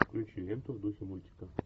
включи ленту в духе мультика